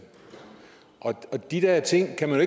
og de der ting kan man